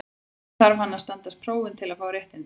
Einnig þarf hann að standast próf til að fá réttindin.